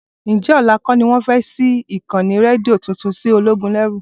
Ǹjẹ́ ọ̀la kọ́ ni wọ́n fẹ́ ṣí ìkànnì rédíò tuntun sí Ológúnẹrú?